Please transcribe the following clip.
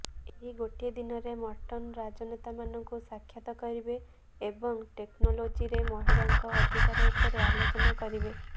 ଏହି ଗୋଟିଏ ଦିନରେ ମର୍ଟନ ରାଜନେତାମାନଙ୍କୁ ସାକ୍ଷାତ କରିବେ ଏବଂ ଟେକ୍ନୋଲୋଜିରେ ମହିଳାଙ୍କ ଅଧିକାର ଉପରେ ଆଲୋଚନା କରିବେ